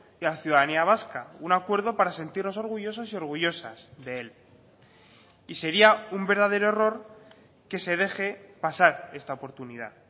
y a la ciudadanía vasca un acuerdo para sentirnos orgullosos y orgullosas de él y sería un verdadero error que se deje pasar esta oportunidad